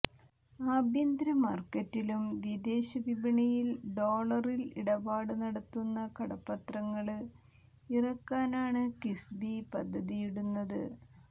ആഭ്യന്തര മാർക്കറ്റിലും വിദേശ വിപണിയിൽ ഡോളറിൽ ഇടപാട് നടത്തുന്ന കടപത്രങ്ങള് ഇറക്കാനാണ് കിഫ്ബി പദ്ധതിയിടുന്നത്